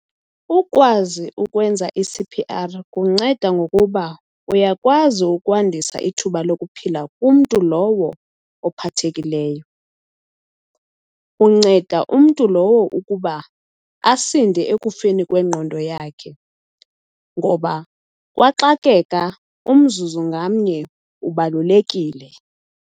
Ukukwazi ukwenza i-C_P_R kunceda ngokuba uyakwazi ukwandisa ithuba lokuphila kumntu lowo ophathekileyo. Unceda umntu lowo ukuba asinde ekufeni kwengqondo yakhe ngoba kwaxakeka umzuzu ngamnye ubalulekile.